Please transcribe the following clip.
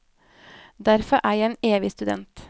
Derfor er jeg en evig student.